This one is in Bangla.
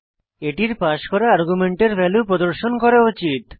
এটির পাস করা আর্গুমেন্টের ভ্যালু প্রদর্শন করা উচিত